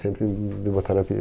Sempre m me botaram apelido.